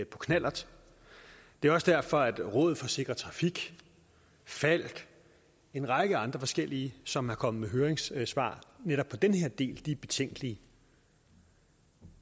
knallert det er også derfor at rådet for sikker trafik falck og en række andre forskellige som er kommet med høringssvar netop den her del er betænkelige